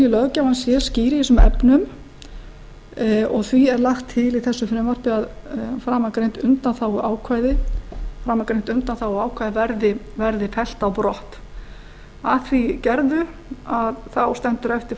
löggjafans sé skýr í þessum efnum og því er lagt til í þessu frumvarpi að framangreint undanþáguákvæði verði fellt á brott að því gerðu stendur eftir